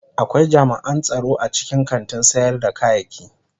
Akwai jami'an tsaro a cikin kantin sayar da kayaki.